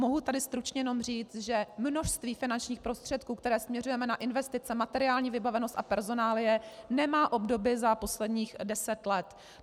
Mohu tady stručně jenom říct, že množství finančních prostředků, které směřujeme na investice, materiální vybavenost a personálie nemá obdoby za posledních deset let.